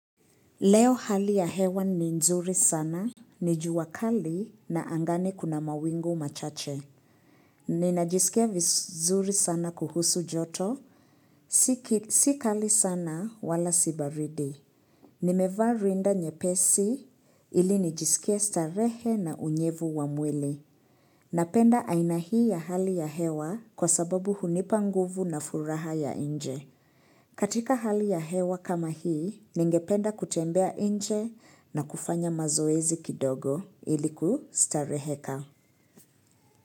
Leo hali ya hewa ni nzuri sana, ni jua kali na angani kuna mawingu machache. Ninajisikia vizuri sana kuhusu joto, si kali sana wala sibaridi. Nimevaa rinda nyepesi ili nijisikie starehe na unyevu wa mwili. Napenda aina hii ya hali ya hewa kwa sababu hunipa nguvu na furaha ya nje. Katika hali ya hewa kama hii, ningependa kutembea nje na kufanya mazoezi kidogo ilikustareheka.